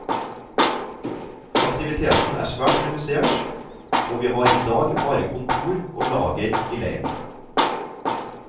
Aktiviteten er svært redusert og vi har i dag bare kontor og lager i leiren.